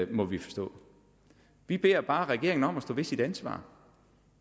må vi forstå vi beder bare regeringen om at stå ved sit ansvar